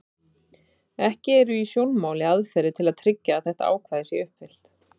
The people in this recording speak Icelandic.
Ekki eru í sjónmáli aðferðir til að tryggja að þetta ákvæði sé uppfyllt.